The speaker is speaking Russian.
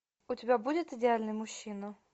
у тебя будет идеальный мужчина